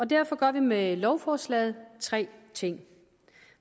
derfor gør vi med lovforslaget tre ting